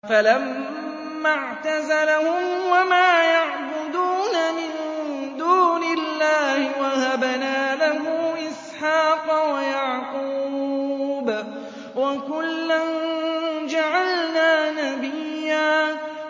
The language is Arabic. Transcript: فَلَمَّا اعْتَزَلَهُمْ وَمَا يَعْبُدُونَ مِن دُونِ اللَّهِ وَهَبْنَا لَهُ إِسْحَاقَ وَيَعْقُوبَ ۖ وَكُلًّا جَعَلْنَا نَبِيًّا